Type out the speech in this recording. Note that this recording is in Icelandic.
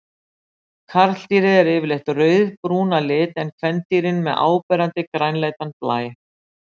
Karldýrin eru yfirleitt rauðbrún að lit en kvendýrin með áberandi grænleitan blæ.